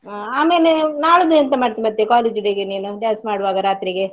ಆ ಆಮೇಲೆ ನಾಳ್ದು ಎಂತ ಮಾಡ್ತಿ ಮತ್ತೇ college day ಗೆ ನೀನು dance ಮಾಡುವಾಗ ರಾತ್ರಿಗೆ.